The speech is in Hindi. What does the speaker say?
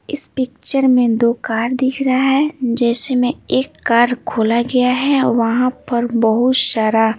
इस पिक्चर में दो कार दिख रहा है जैसे में एक कार खोला गया है वहाँ पर बहुत सारा --